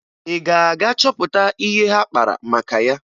Ị ga-aga chọpụta ihe ha kpara maka ya?